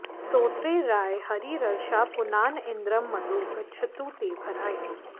स्तोत्रे राये हरिरर्षा पुनान इन्द्रं मदो गच्छतु ते भराय